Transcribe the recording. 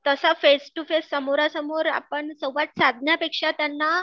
तसा face to face समोरासमोर आपण संवाद साधण्यापेक्षा त्यांना